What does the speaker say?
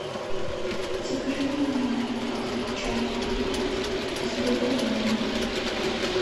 закажи мне чай ахмат с бергомотом